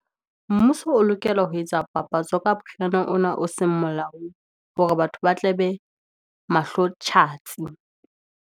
Mmuso o lokela ho etsa papatso ka ona o seng molaong, hore batho ba tla be mahlo tjhatsi.